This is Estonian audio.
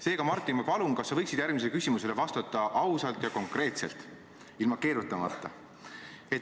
Seega, Martin, ma palun, kas sa võiksid järgmisele küsimusele vastata ausalt ja konkreetselt, ilma keerutamata.